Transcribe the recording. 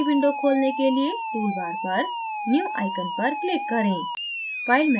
new window खोलने के लिए tool bar पर new icon पर click करें